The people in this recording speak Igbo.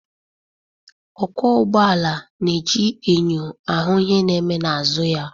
Okwo ụgbọala n'eji enyo ahụ ihe na eme n'azụ ya